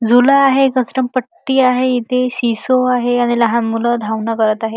झुला आहे घसरमपट्टी आहे इथे सी सॉ आहे आणि लहान मुल धावन करत आहे.